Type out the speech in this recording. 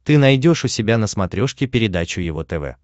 ты найдешь у себя на смотрешке передачу его тв